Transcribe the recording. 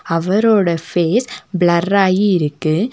அவரோட face blur ஆயி இருக்கு.